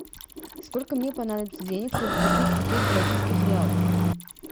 сколько мне понадобится денег чтобы купить пятьсот бразильских реалов